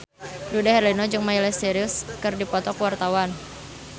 Dude Herlino jeung Miley Cyrus keur dipoto ku wartawan